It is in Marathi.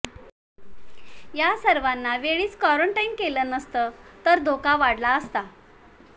या सर्वांना वेळीच क्वारंटाईन केलं नसतं तर धोका वाढला असता